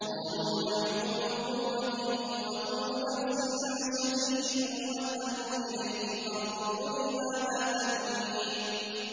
قَالُوا نَحْنُ أُولُو قُوَّةٍ وَأُولُو بَأْسٍ شَدِيدٍ وَالْأَمْرُ إِلَيْكِ فَانظُرِي مَاذَا تَأْمُرِينَ